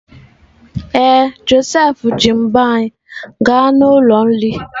Ee, Josef ji mbo anyị gaa n'ụlọ nri.